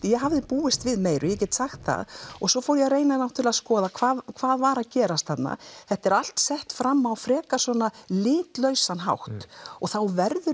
ég hafði búist við meiru ég get sagt það og svo fór ég að reyna að skoða hvað hvað var að gerast þarna þetta er allt sett fram á frekar svona litlausan hátt og þá verður